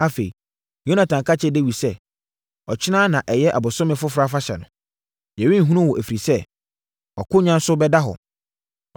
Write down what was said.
Afei, Yonatan ka kyerɛɛ Dawid sɛ, “Ɔkyena na ɛyɛ ɔbosome foforɔ afahyɛ no. Yɛrenhunu wo, ɛfiri sɛ, wʼakonnwa so bɛda hɔ.